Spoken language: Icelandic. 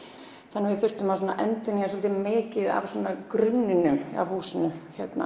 þannig að við þurftum að endurnýja mikið af grunninum á húsinu